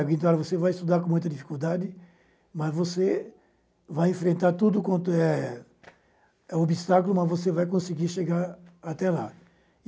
Então, você vai estudar com muita dificuldade, mas você vai enfrentar tudo quanto é obstáculo, mas você vai conseguir chegar até lá.